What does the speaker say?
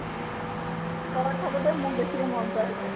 তলত থাকোতে মোক বেছিকৈ মৰম কৰে তাই ।